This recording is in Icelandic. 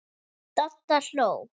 Dadda hló.